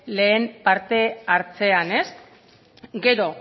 lehen parte hartzean gero